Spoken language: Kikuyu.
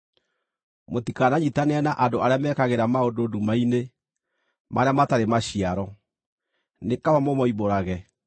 Mũtikananyiitanĩre na andũ arĩa mekagĩra maũndũ nduma-inĩ marĩa matarĩ maciaro, nĩ kaba mũmoimbũrage.